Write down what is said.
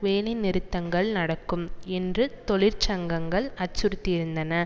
வேலை நிறுத்தங்கள் நடக்கும் என்று தொழிற்சங்கங்கள் அச்சுறுத்தியிருந்தன